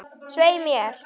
Svei mér.